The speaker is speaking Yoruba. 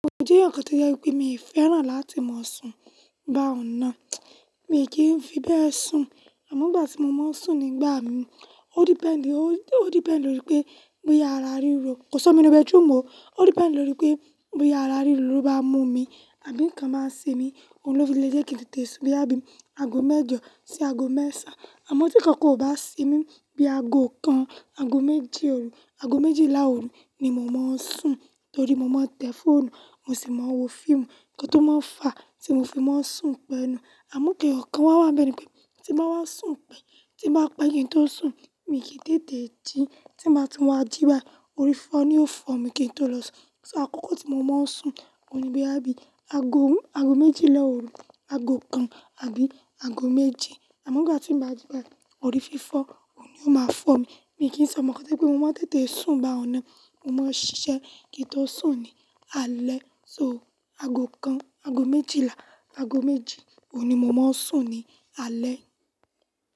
Je eeyan kan to jẹ́ pé mi o fẹ́ràn láti máa sùn bá ọ̀nà, mi kìí ń fi bẹ́ẹ̀ sùn àmọ́ ìgbà tí mo máa ń sùn nígbà mi, o depend, o depend lórí pé bí àrà ríro, kò si omi ní inu bathroom o, o depend lórí pé bí àrà ríro ló bá mú mi àbí nǹkan báa ń semi, òun ló fi le jẹ́ kí n tètè sùn bí i àbí aago mẹ́jọ sí aago mẹ́ẹ̀sán. Àmọ́ tí n kankan ò bá semi bí i aago kan, aago méji òru, aago méjìlá òru ni mo máa ń sùn torí mo máa ń tẹ fóònù, mo sì máa ń wo fíìmù, nǹkan tó máa ń fà á tí mo fi máa ń sùn pẹnu. Àmọ́ n kan eyo kan wá wá bẹ́ni pé tí ń bá wá sùn pẹ́, tí ń bá pa ki n toó sùn, mi kì í tètè jí, tí ń bá ti wá jí báyìí, orí fifọ́ ni yóò fọ̀ mi kí n tó lọ sùn. So àkókò tí mo máa ń sùn òun ni bí i àbí aago, aago méjìlá òru, aago kan àbí aago méjì. Àmọ́ ìgbà tí ń bá jí báyìí, orí fífọ́ òun ni o máa fọ̀ mi. Mi kì í sọe omọ́ kàn to je pe pé mo máa ń tètè sùn bá hun ọnà, mo máa ń ṣiṣẹ́ kí n tó sùn ní alẹ́ so aago kan, aago méjìlá, aago méjì òun ni mo máa ń sùn ní alẹ́.